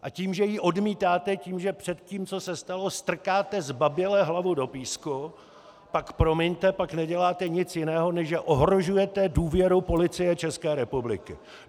A tím, že ji odmítáte, tím, že před tím, co se stalo, strkáte zbaběle hlavu do písku, pak, promiňte, pak neděláte nic jiného, než že ohrožujete důvěru Policie České republiky.